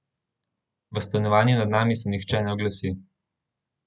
V stanovanju nad vami se nihče ne oglasi.